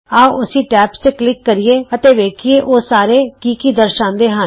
ਆਉ ਅਸੀਂ ਟੈਬਜ਼ ਤੇ ਕਲਿਕ ਕਰੀਏ ਅਤੇ ਵੇਖੀਏ ਉਹ ਸਾਰੇ ਕੀ ਕੀ ਦਰਸਾਂਦੇ ਹਨ